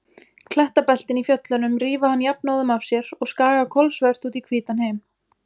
Klettabeltin í fjöllunum rífa hann jafnóðum af sér og skaga kolsvört út í hvítan heim.